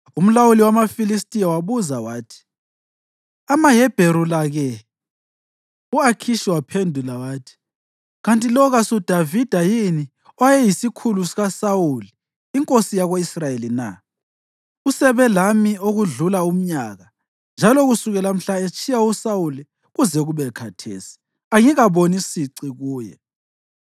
Umlawuli wamaFilistiya wabuza wathi, “AmaHebheru la-ke?” U-Akhishi waphendula wathi, “Kanti lo kasuDavida yini owayeyisikhulu sikaSawuli inkosi yako-Israyeli na? Usebe lami okudlula umnyaka, njalo kusukela mhla etshiya uSawuli kuze kube khathesi, angikaboni sici kuye.”